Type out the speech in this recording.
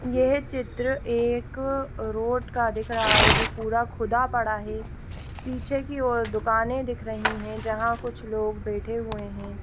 ये चित्र एक रोड का दिख रहा है जो पूरा खुदा पड़ा हैंपीछे की ओर दुकाने दिखाई दे रही है जहा कुछ लोग बैठे हुए है।